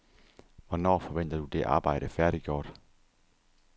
Hvornår forventer du det arbejde færdiggjort?